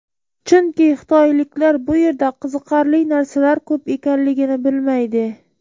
Chunki xitoyliklar bu yerda qiziqarli narsalar ko‘p ekanligini bilmaydi.